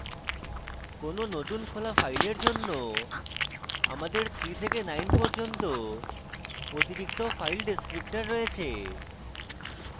কোনো নতুন খোলা file জন্য আমাদের 3 থেকে 9 পর্যন্ত অতিরিক্ত file descriptors রয়েছে